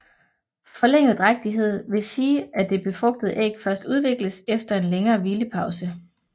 Forlænget drægtighed vil sige at det befrugtede æg først udvikles efter en længere hvilepause